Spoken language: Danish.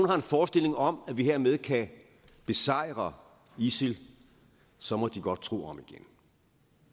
har en forestilling om at vi hermed kan besejre isil så må de godt tro om igen